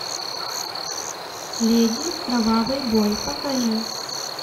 леди кровавый бой покажи